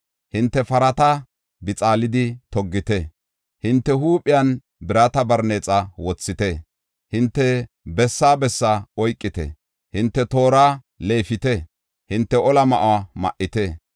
Hinte parata bixaalidi toggite; hinte huuphiyan birata barneexa wothite. Hinte bessaa bessaa oykite; hinte toora leefite; hinte ola ma7uwa ma7ite.